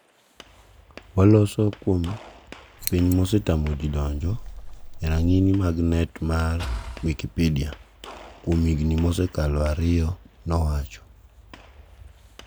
waloso kuom piny ma osetamoji donjo e rang'ini mag net mar Wikipidea. kuom higni mosekalo ariyo' nowacho